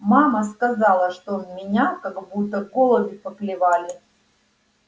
мама сказала что меня как будто голуби поклевали